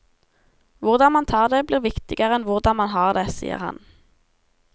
Hvordan man tar det, blir viktigere enn hvordan man har det, sier han.